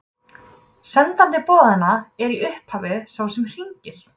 sendandi boðanna er í upphafi sá sem hringir